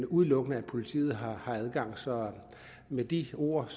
udelukkende politiet har adgang så med de ord